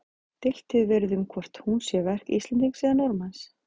Deilt hefur verið um hvort hún sé verk Íslendings eða Norðmanns.